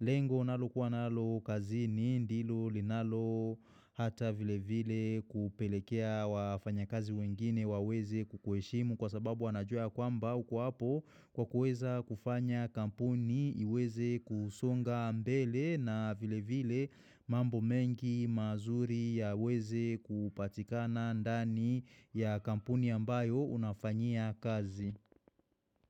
lengo nalo kuwa nalo kazi ni ndilo linalo hata vile vile kupelekea wafanya kazi wengine waweze kukuheshimu kwa sababu wanajua kwamba uko hapo kwa kuweza kufanya kampuni iweze kusonga mbele na vile vile mambo mengi mazuri ya weze kupatikana ndani ya kampuni ambayo unafanyia kazi.